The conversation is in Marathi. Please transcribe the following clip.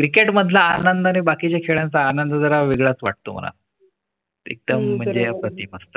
Cricket मधला आनंद आणि बाकी चे खेळांचा आनंद जरा वेगळाच वाटतो मला एकदा म्हणजे अप्रतिम असत .